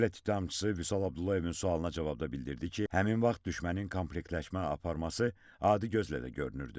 Dövlət ittihamçısı Vüsal Abdullayevin sualına cavabda bildirdi ki, həmin vaxt düşmənin komplektləşmə aparması adi gözlə də görünürdü.